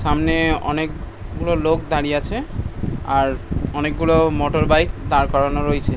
সামনে অনেকগুলো লোক দাঁড়িয়ে আছে। আর অনেকগুলো মোটরবাইক দাড় করানো রয়েছে ।